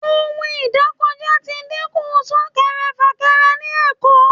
ohún idakojá tí díkun sunkẹrẹ-fakẹrẹ ni Èko